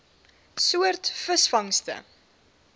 soort visvangste